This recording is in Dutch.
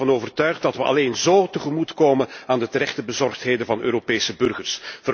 Ik ben ervan overtuigd dat wij alleen zo tegemoet komen aan de terechte bezorgdheden van Europese burgers.